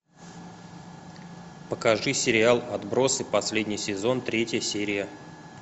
покажи сериал отбросы последний сезон третья серия